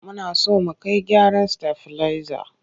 Muna so mu kai gyaran stabilizer.